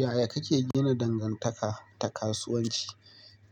Yaya kake gina dangantaka ta kasuwanci?